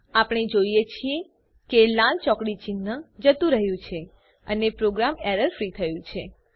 આપણે જોઈએ છીએ કે લાલ ચોકડી ચિન્હ જતું રહ્યું છે અને પ્રોગ્રામ એરર ફ્રી થયું છે